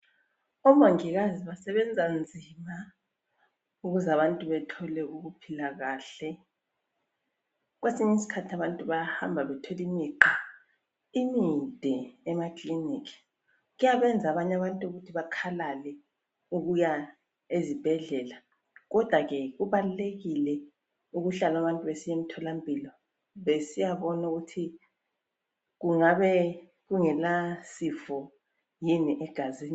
Omongikazi basebenza nzima ukuze abantu bathole ukuphila kahle, kwesinye isikhathi abantu bayahamba bethole imigqa imide emakilinika, kuyabenza abanye abantu bakhalale ukuya ezibhedlela kodwa ke kubalulekile ukuhlala abantu besiya emtholampilo besiya bona ukuthi kungabe kungela sifo yini egazini.